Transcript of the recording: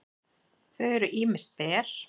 þau eru ýmist ber